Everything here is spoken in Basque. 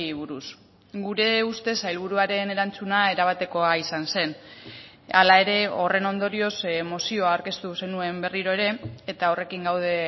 buruz gure ustez sailburuaren erantzuna erabatekoa izan zen hala ere horren ondorioz mozioa aurkeztu zenuen berriro ere eta horrekin gaude